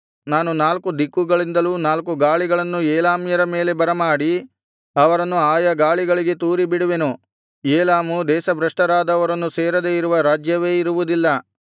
ನಾನು ನಾಲ್ಕು ದಿಕ್ಕುಗಳಿಂದಲೂ ನಾಲ್ಕು ಗಾಳಿಗಳನ್ನು ಏಲಾಮ್ಯರ ಮೇಲೆ ಬರಮಾಡಿ ಅವರನ್ನು ಆಯಾ ಗಾಳಿಗಳಿಗೆ ತೂರಿಬಿಡುವೆನು ಏಲಾಮು ದೇಶಭ್ರಷ್ಟರಾದವರನ್ನು ಸೇರದೆ ಇರುವ ರಾಜ್ಯವೇ ಇರುವುದಿಲ್ಲ